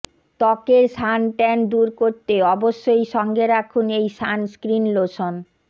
ত্বকের sun tan দূর করতে অবশ্যই সঙ্গে রাখুন এই সানস্ক্রিন লোশন